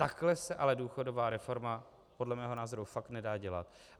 Takhle se ale důchodová reforma podle mého názoru fakt nedá dělat.